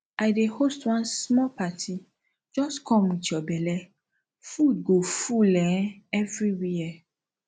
i dey host one small party just come with your belle food go full um everywhere